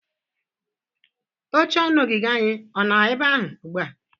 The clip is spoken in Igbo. Oche ọnụ ogige anyị ọ nọ ebe ahụ ugbu a?